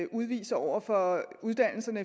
udviser over for uddannelserne